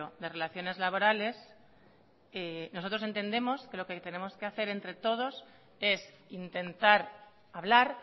de relaciones laborales nosotros entendemos que lo que tenemos que hacer entre todos es intentar hablar